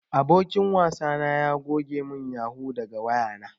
Abokin wasa na ya goge mun yahoo daga wayana.